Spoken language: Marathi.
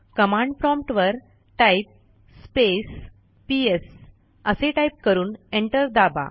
कमांड प्रॉम्प्ट वर टाइप स्पेस पीएस असे टाईप करून एंटर दाबा